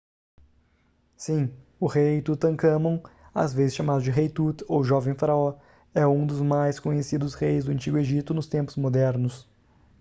sim o rei tutancâmon às vezes chamado de rei tut ou jovem faraó é um dos mais conhecidos reis do antigo egito nos tempos modernos